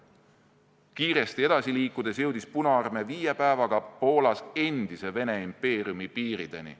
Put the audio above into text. Kiiresti edasi liikudes jõudis Punaarmee viie päevaga Poolas endise Vene impeeriumi piirideni.